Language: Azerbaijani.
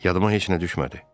Yadıma heç nə düşmədi.